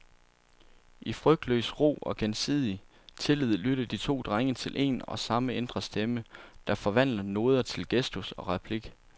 I frygtløs ro og gensidig tillid lytter de to drenge til en og samme indre stemme, der forvandler noder til gestus og replik.